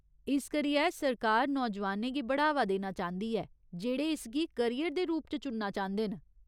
इस करियै सरकार नौजुआनें गी बढ़ावा देना चांह्दी ऐ जेह्ड़े इसगी करियर दे रूप च चुनना चांह्दे न।